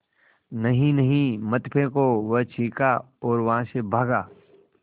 नहीं नहीं मत फेंको वह चीखा और वहाँ से भागा